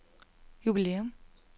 jubilæum